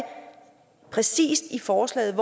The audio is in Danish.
præcis i forslaget